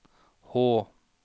Hå